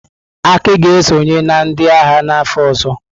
Aki ga-esonye na ndị agha n'afọ ọzọ.